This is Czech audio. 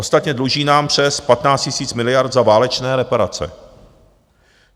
Ostatně, dluží nám přes 15 000 miliard za válečné reparace.